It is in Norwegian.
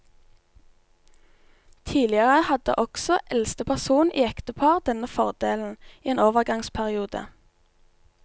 Tidligere hadde også eldste person i ektepar denne fordelen i en overgangsperiode.